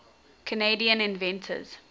canadian inventors